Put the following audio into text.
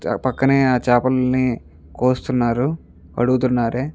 చ పక్కనే ఆ చేపల్ని కోస్తున్నారు కడుగుతున్నారే --